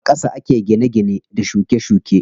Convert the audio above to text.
A ƙasa ake gine gine da shuke shuke.